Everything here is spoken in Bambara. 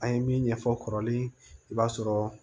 An ye min ɲɛfɔ kɔrɔlen i b'a sɔrɔ